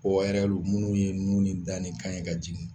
O minnu ye nun ni kan ni da ye ka jigin